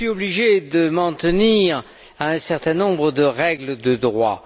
Je suis obligé de m'en tenir à un certain nombre de règles de droit.